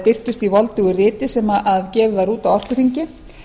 birtist í voldugu riti sem gefið var út á orkuþingi